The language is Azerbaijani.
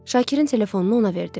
Şakirin telefonunu ona verdim.